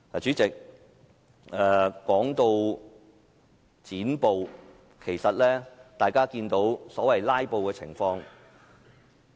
主席，說到"剪布"，大家看到所謂"拉布"情況。